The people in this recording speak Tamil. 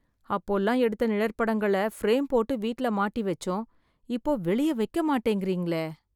அப்போலாம், எடுத்த நிழற்படங்களை ஃப்ரேம் போட்டு வீட்ல மாட்டி வெச்சோம்... இப்போ வெளியே வைக்க மாட்டேங்கறீங்களே...